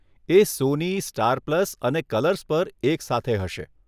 એ Sony, Star Plus અને Colors પર એક સાથે હશે.